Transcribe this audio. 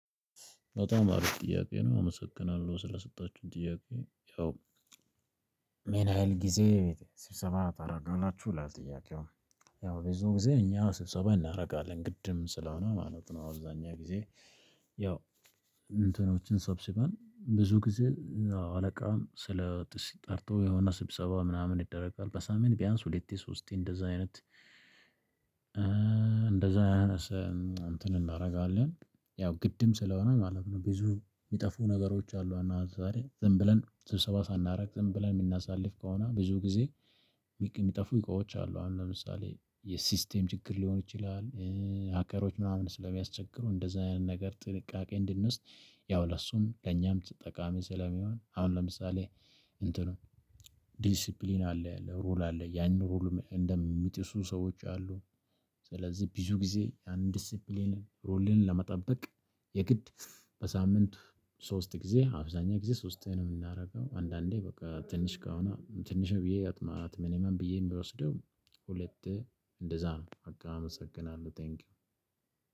በጣም አሪፍ ጥያቄ ነው አመሰግናለሁ ስለሰጣችሁኝ ጥያቄ ያው ምን ሀይል ጊዜ ስብሰባ ታደርጋላችሁ ለጥያቄው? ያው ብዙ ጊዜ እኛ ስብሰባ እናደርጋለን ግድም ስለሆነ ማለት ነው። አብዛኛው ጊዜ ያው እንትኖችን ሰብስበን ብዙ ጊዜ አዎ አለቃም ስለ ጥርጥር ጠርቶ የሆነ ስብሰባ ምናምን ይደረጋል በሳምንት ቢያንስ ሁለት ሶስቴ እንደዛ አይነት። እንትን እናደርጋለን ያው ግድም ስለሆነ ማለት ነው። ብዙ የሚጠፉ ነገሮች አሉ አና ዛሬ ዝም ብለን ስብሰባ ሳናደርግ ዝም ብለን የምናሳልፍ ከሆነ ብዙ ጊዜ የሚጠፉ እቃዎች አሉ አሁን ለምሳሌ የሲስቴም ችግር ሊሆን ይችላል። ሀከሮች ምናምን ስለሚያስቸግሩ እንደዚህ አይነት ነገር ጥንቃቄ እንድንውስድ ያው ለእሱም ለእኛም ጠቃሚ ስለሚሆን። አሁን ለምሳሌ እንትኑ ዲሲፕሊን አለ ሩል አለ ያንን ሩል እንደሚጥሱ ሰዎች አሉ። ስለዚህ ብዙ ጊዜ ያን ዲሲኘሊን ሩልን ለመጠበቅ የግድ በሳምንት ሶስት ጊዜ አብዛኛው ጊዜ ሶስት ነው የምናደርገው። አንዳንዴ በቃ ትንሽ ከሆነ ትንሽ ብዬ ቢገጥማት ብዬ የምወስደው ሁለት እንደዛ ነው። ቀጣም አመሰግናለሁ ቴንኪው።